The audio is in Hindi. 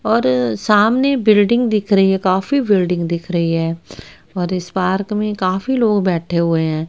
और सामने बिल्डिंग दिख रही है काफी बिल्डिंग दिख रही है और इस पार्क में काफी लोग बैठे हुए हैं।